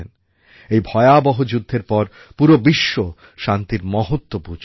এই ভয়াবহ যুদ্ধের পর পুরো বিশ্ব শান্তির মহত্ত্ব বুঝল